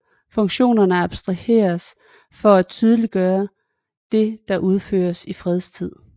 Funktionerne abstraheres for at tydeliggøre det der udføres i fredstid